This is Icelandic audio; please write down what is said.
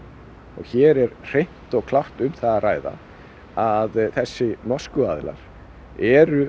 og hér er hreint og klárt um það að ræða að þessir norsku aðilar eru